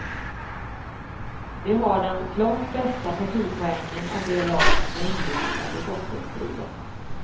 De har den klart bästa partipoängen av de lag som är inblandade i bottenstriden.